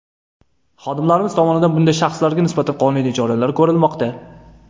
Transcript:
Xodimlarimiz tomonidan bunday shaxslarga nisbatan qonuniy choralar ko‘rilmoqda”.